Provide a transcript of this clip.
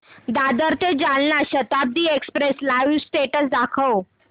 दादर ते Jalna Janshatabdi express live status दाखव